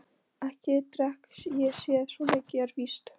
Ekki drekk ég það, svo mikið er víst.